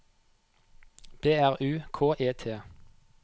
B R U K E T